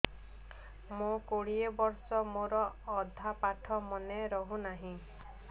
ମୋ କୋଡ଼ିଏ ବର୍ଷ ମୋର ଅଧା ପାଠ ମନେ ରହୁନାହିଁ